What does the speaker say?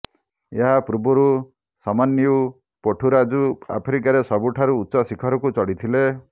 ଏହା ପୂର୍ବରୁ ସମନ୍ୟୁ ପୋଠୁରାଜୁ ଆଫ୍ରିକାର ସବୁଠାରୁ ଉଚ୍ଚ ଶିଖରକୁ ଚଢ଼ିଥିଲେ